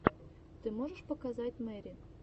ты можешь показать мэри